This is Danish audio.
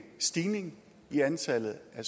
at